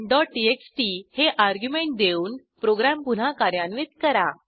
test1टीएक्सटी हे अर्ग्युमेंट देऊन प्रोग्रॅम पुन्हा कार्यान्वित करा